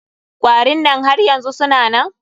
Kwarin nan har yanzu suna nan?